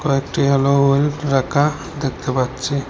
একটি হ্যালো রাখা দেখতে পাচ্ছি।